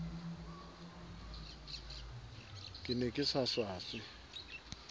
ke ne ke sa swaswe